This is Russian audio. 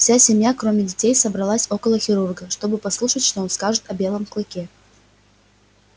вся семья кроме детей собралась около хирурга чтобы послушать что он скажет о белом клыке